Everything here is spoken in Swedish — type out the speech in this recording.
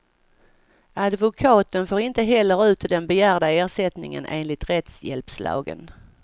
Advokaten får inte heller ut den begärda ersättningen enligt rättshjälpslagen.